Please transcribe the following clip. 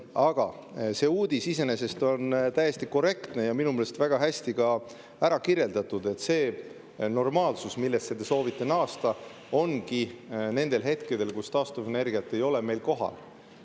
Aga see uudis iseenesest on täiesti korrektne ja minu meelest on selles väga hästi ära kirjeldatud, et see normaalsus, millesse te soovite naasta, ongi nendel hetkedel, kus taastuvenergiat ei ole meil kohal.